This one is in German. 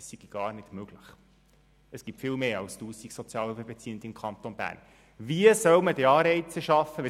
Ja, wahrscheinlich ist es wirklich Ihre Meinung, dass diese Vorlage, über die Sie jetzt diskutieren wollen, nur der erste Schritt ist.